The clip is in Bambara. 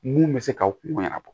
Mun bɛ se k'aw kungo ɲɛnabɔ